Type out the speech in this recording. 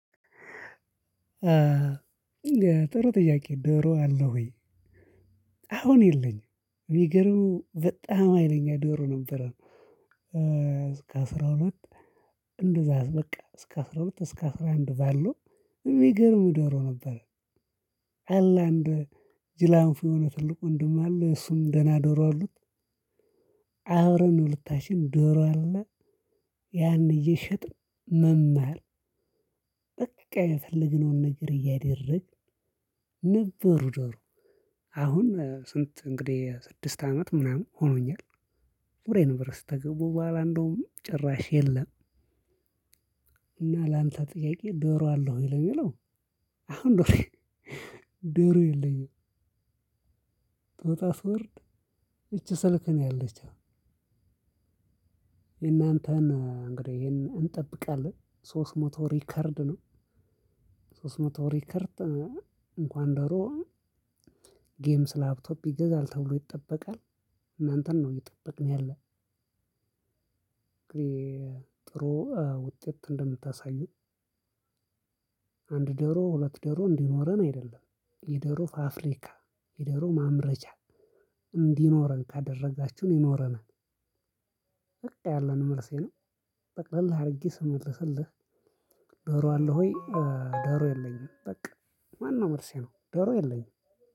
ጥሩ ጥያቄ ዶሮ አለ ወይ? አሁን የለኝም የሚገርመው በጣም ሀይለኛም ዶሮ ነበር። እስከ አስራ ሁለት እንደዛ በቃ እስከ አስራ ሁለት እስከ አስራ አንድ ባለው የሚገርም ዶሮ ነበር። አላህ አንድ ጅላንፎ የሆነ ትልቅ ወንድም አለ እሱም ደህና ዶሮ አሉት። አብረን ነው ሁለታችንም ዶሮ አለ። ያን እየሸጥን መማር። በቃ የፈለግነውን ነገር እያደረግን ነበሩ። ዶሮ አሁን ስንት እንግዲህ ስድስት አመት ምናምን ሆኖኛል። ወደ ዩንቨርሲቲ ከገባሁ በኋላ እንደውም ጭራሽ የለም። እና ላንተ ጥያቄ ዶሮ አለው የለውም የለውም። አሁን ዶሮ የለውም የለኝም። ጦጣ ፍርድ እቺ ስልክ ነው ያለችው። የእናንተን እንግዲህ ይሄንን እንጠብቃለን ሶስት መቶ ሪከርድ ነው። ሶስት መቶ ሪከርድ እንኳን ዶሮ ጌምስ ላፕቶፕ ይገዛል ተብሎ ይጠበቃል። እናንተን ነው ምበቅኩ ያለሁት። እንግዲህ ጥሩ ውጤት እንደምታሳዩ። አንድ ዶሮ ሁለት ዶሮ እንዲኖረን አይደለም የዶሮ ፋብሪካ የዶሮ ማምረቻ እንዲኖረን ካደረጋችሁ ነው ይኖረናል። በቃ ያለኝ መልሴ ነው። ጠቅለል አድርጌ ስመልስልህ። ዶሮ አለው ወይ? ዶሮ የለኝም በቃ ዋነው መልሴ ነው ደሮ የለኝም።